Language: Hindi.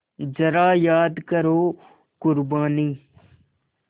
ज़रा याद करो क़ुरबानी